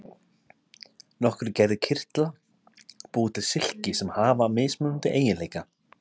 Nokkrar gerðir kirtla búa til silki sem hafa mismunandi eiginleika.